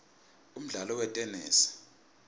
umdlalo wetenesi